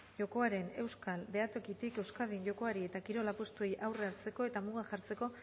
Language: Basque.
jokoaren euskal behatokitik euskadin jokoari eta kirol apustuei aurre hartzeko eta mugak jartzeko